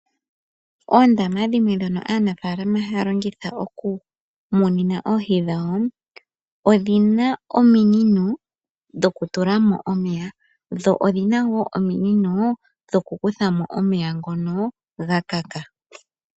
Oondama dhimwe dhoka aanafaalama haya longitha okumuna oohi dhawo odhina ominino dho kutula mo omeya dho odhina wo ominino dho kukutha mo omeya ngoka gakaka.